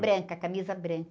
Branca, camisa branca.